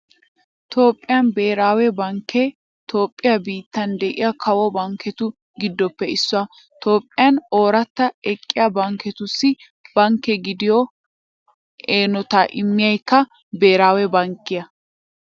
Toophphiyaa Beeraawe bankkee Toophphiyaa biittan de'iya kawo bankketu giddoppe issuwaa. Toophphiyan ooratti eqqiya bankketussi bankke gidiyo eenotaa immiyaykka beeraawe bankkiyaa.